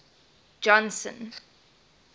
johnson